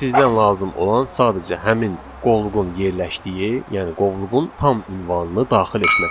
Sizdən lazım olan sadəcə həmin qovluğun yerləşdiyi, yəni qovluğun tam ünvanını daxil etməkdir.